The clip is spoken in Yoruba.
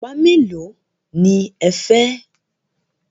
Ọ̀pá mélòó ní ẹ fẹ́?